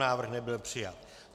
Návrh nebyl přijat.